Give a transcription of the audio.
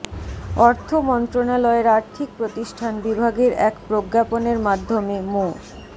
অর্থ মন্ত্রণালয়ের আর্থিক প্রতিষ্ঠান বিভাগের এক প্রজ্ঞাপনের মাধ্যমে মো